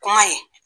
Kuma ye